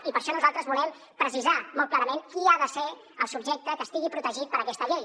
i per això nosaltres volem precisar molt clarament qui ha de ser el subjecte que estigui protegit per aquesta llei